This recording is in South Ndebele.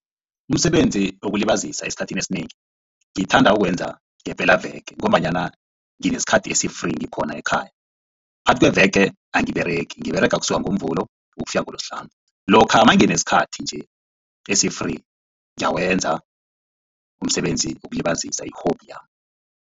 Umsebenzi wokulibazisa esikhathini esinengi ngithanda ukuwenza ngepelaveke ngombanyana nginesikhathi esi-free ngikhona ekhaya. Phakathi kweveke angiberegi ngiberega kusuka ngoMvulo ukufika ngoloSihlanu. Lokha nanginesikhathi nje esi-free ngiyawenza umsebenzi wokulibazisa i-hobby